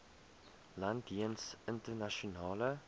land jeens internasionale